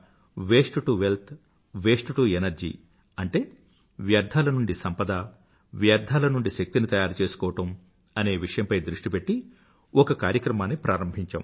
waste to wealth waste to energy అంటే వ్యర్థాల నుండి సంపద వ్యర్థాల నుండి శక్తినీ తయారుచేసుకోవడం అనే విషయంపై దృష్టి పెట్టి ఒక కార్యక్రమాన్ని ప్రారంభించాం